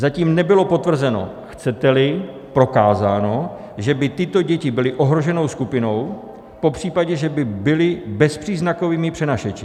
Zatím nebylo potvrzeno, chcete-li prokázáno, že by tyto děti byly ohroženou skupinou, popřípadě že by byly bezpříznakovými přenašeči.